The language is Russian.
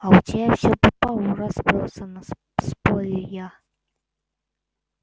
а у тебя все по полу разбросано спорю я